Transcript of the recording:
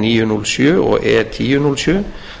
níu núll sjöunda og e tíu núll sjö